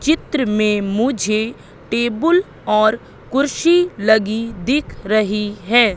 चित्र में मुझे टेबुल और कुर्सी लगी दिख रही हैं।